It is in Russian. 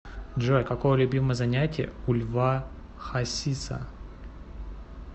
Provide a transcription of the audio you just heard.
джой какое любимое занятие у льва хасиса